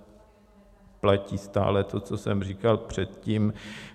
Platí stále to, co jsem říkal předtím.